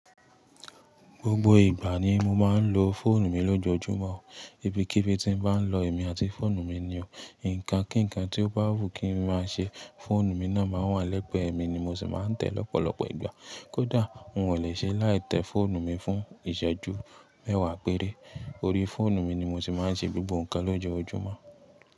Gbogbo ìgbà ni mo máa ń lo fóònù mi lójoojúmọ́, ibikíbi tí n bá lọ èmi àti fóònù mi ni o, ǹkan kí ǹkan tí ó bá wù kí n máa ṣe, fóònù mi náà máa wà lẹ́gbẹ̀ẹ́ mi ni mo sì máa ń tẹ̀ lọ́pọ̀lọpọ̀ ìgbà. Kódà un ò lè ṣe láì tẹ fóònù mi fún ìṣẹ́ju mẹ́wàá péré. Orí fóònù mi ni mo sì máa ń ṣe gbogbo ǹkan lójoojúmọ́